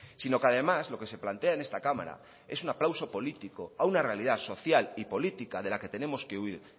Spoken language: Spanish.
sino que además lo que se plantea en esta cámara es un aplauso político a una realidad social y política de la que tenemos que huir